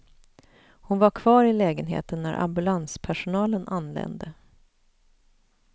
Hon var kvar i lägenheten när ambulanspersonalen anlände.